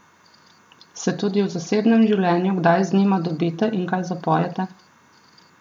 Se tudi v zasebnem življenju kdaj z njima dobite in kaj zapojete?